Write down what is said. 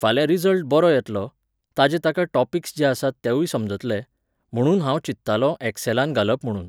फाल्यां रिजल्ट बरो येतलो, ताचे ताका टॉपिक्स जे आसात तेवूय समजतले, म्हुणून हांव चिंत्तालों एक्सॅलान घालप म्हुणून